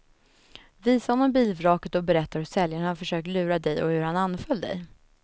Visa honom bilvraket och berätta hur säljaren har försökt lura dig och hur han anföll dig.